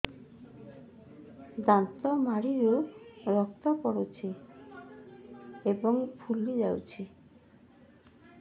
ଦାନ୍ତ ମାଢ଼ିରୁ ରକ୍ତ ପଡୁଛୁ ଏବଂ ଫୁଲି ଯାଇଛି